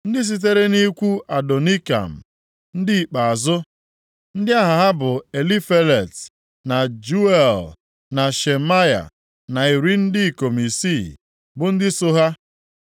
Ndị sitere nʼikwu Adonikam, ndị ikpeazụ, ndị aha ha bụ Elifelet, na Jeuel na Shemaya na iri ndị ikom isii (60) bụ ndị so ha,